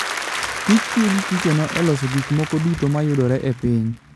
kich tiyo gi kichono e loso gik moko duto ma yudore e piny.